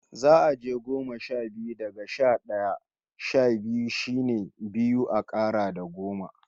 Za'a je goma sha biyu, daga sha d'aya. Sha biyu shine biyu a kara da goma.